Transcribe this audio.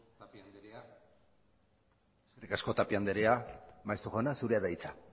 tapia anderea maeztu jauna zurea da hitza